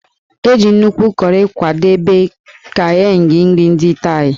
E ji nnukwu kọrị kwadebe Kaeng nri ndị Thai.